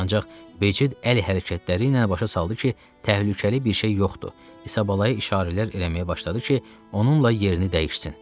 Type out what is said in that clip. ancaq Becid əl hərəkətləri ilə başa saldı ki, təhlükəli bir şey yoxdur, İsabala-ya işarələr eləməyə başladı ki, onunla yerini dəyişsin.